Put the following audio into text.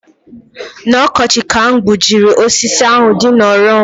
N'ọkọchị ka m gbujiri osisi ahu dị n'ọrụ m